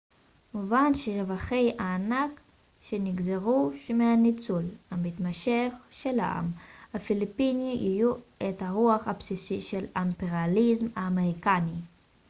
מובן שרווחי הענק שנגזרו מהניצול המתמשך של העם הפיליפיני יהוו את הרווח הבסיסי של האימפריאליזם האמריקני